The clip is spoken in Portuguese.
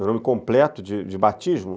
Meu nome completo de batismo?